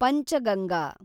Panchganga